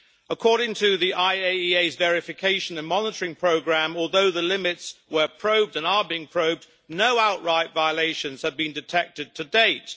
According to the IAEA's verification and monitoring programme, although the limits were probed and are being probed, no outright violations have been detected to date.